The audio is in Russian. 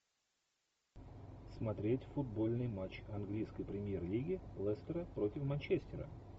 смотреть футбольный матч английской премьер лиги лестера против манчестера